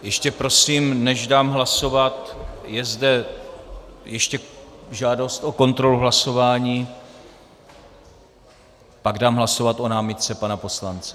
Ještě prosím, než dám hlasovat, je zde ještě žádost o kontrolu hlasování, pak dám hlasovat o námitce pana poslance.